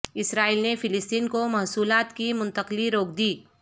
اسرائیل نے فلسطین کو محصولات کی منتقلی روک دی